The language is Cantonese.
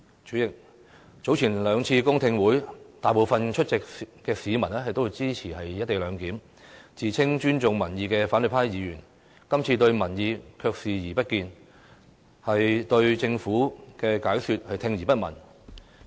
主席，早前兩次公聽會，大部分出席的市民都支持"一地兩檢"，自稱尊重民意的反對派議員，今次對民意卻視而不見，對政府的解釋聽而不聞。